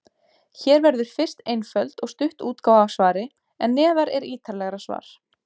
Hér verður fyrst einföld og stutt útgáfa af svari, en neðar er ítarlegra svar.